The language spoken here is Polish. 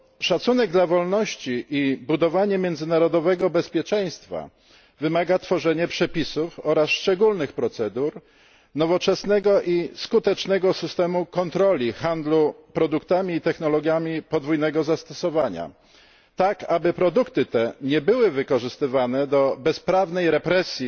Szacunek dla wolności i budowanie międzynarodowego bezpieczeństwa wymaga tworzenia przepisów oraz szczególnych procedur nowoczesnego i skutecznego systemu kontroli nad handlem produktami i technologiami podwójnego zastosowania tak, aby produkty te nie były wykorzystywane do bezprawnej represji